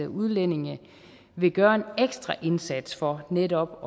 udlændinge vil gøre en ekstra indsats for netop